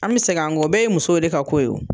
An bɛ segin an kɔ o bɛɛ ye muso de ka ko ye